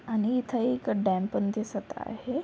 आणि इथे एक डॅम पण दिसत आहे.